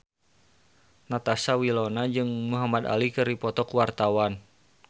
Natasha Wilona jeung Muhamad Ali keur dipoto ku wartawan